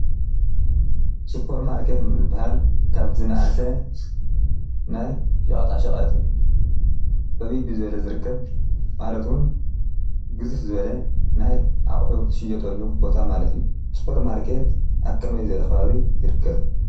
ስፖር ማርኬት ዝባሃል ካብ ዝናኣሰ ናይ ሸቐጣ ሸቐጥ ዕብይ ብዝበለ ዝርከብ ማለት እውን ግዝፍ ዝበለ ናይ ኣቑሑ ዝሽየጠሉ ቦታ ማለት እዩ። ስፖር ማርኬት ኣብ ከመይ ዝበለ ኸባቢ ይርከብ ?